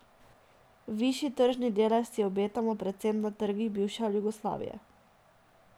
Višji tržni delež si obetamo predvsem na trgih bivše Jugoslavije.